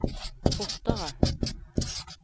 fortere